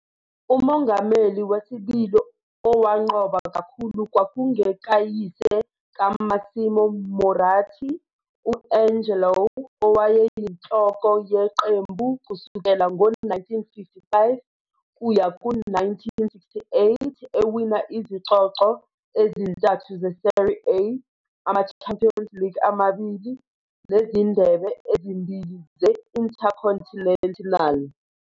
Umongameli wesibili owanqoba kakhulu kwakungekayise kaMassimo Moratti, u-Angelo, owayeyinhloko yeqembu kusukela ngo-1955 kuya ku-1968, ewina izicoco ezintathu ze-Serie A, ama-Champions League amabili, nezindebe ezimbili ze-Intercontinental.